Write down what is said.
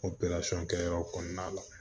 O kɛyɔrɔ kɔnɔna la